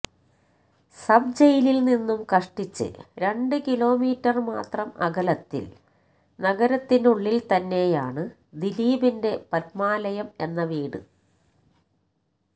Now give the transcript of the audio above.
sub ജയിലില് നിന്നും കഷ്ടിച്ച് രണ്ട് കിലോമീറ്റര് മാത്രം അകലത്തില് നഗരത്തിനുളളില് തന്നെയാണ് ദിലീപിന്റെ പത്മാലയം എന്ന വീട്